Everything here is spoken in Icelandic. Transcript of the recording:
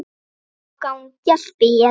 Þá gangi allt betur.